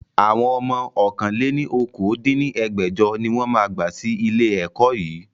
Àwọn ọmọ ọ̀kan-lé-ní-okòó dín ní ẹgbẹ́jọ ni wọn máa gba sì ilé ẹ̀kọ́ yii